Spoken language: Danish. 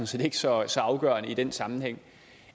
set ikke så så afgørende i den sammenhæng